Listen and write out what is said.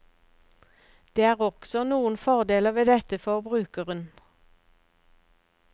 Det er også noen fordeler ved dette for brukeren.